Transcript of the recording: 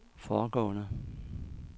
foregående